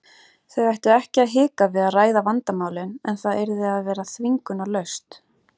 Þau ættu ekki að hika við að ræða vandamálin en það yrði að vera þvingunarlaust.